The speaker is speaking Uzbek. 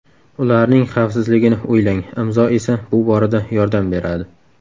Ularning xavfsizligini o‘ylang, Imzo esa bu borada yordam beradi!